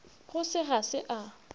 go se ga se a